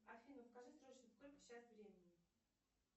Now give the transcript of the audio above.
афина скажи срочно сколько сейчас времени